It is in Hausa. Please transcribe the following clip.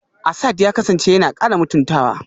Asad ya kasance yana kara mutuntawa